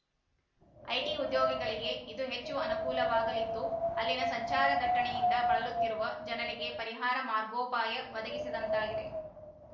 IT ಉದ್ಯೋಗಿಗಳಿಗೆ ಇದು ಹೆಚ್ಚು ಅನುಕೂಲವಾಗಲಿದ್ದು ಅಲ್ಲಿನ ಸಂಚಾರ ದಟ್ಟಣೆಯಿಂದ ಬಳಲುತ್ತಿರುವ ಜನರಿಗೆ ಪರಿಹಾರ ಮಾರ್ಗೋಪಾಯ ಒದಗಿಸಿದಂತಾಗಿದೆ